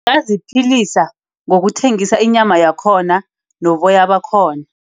Ngaziphilisa ngokuthengisa inyama yakhona noboya bakhona.